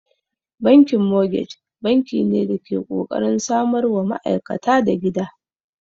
Bankin mogej banki ne da ke kokarin samarwa ma'aikata da gida.